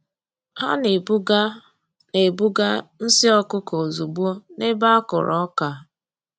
Ha na-ebuga na-ebuga nsị ọkụkọ ozugbo n’ebe a kụrụ ọka.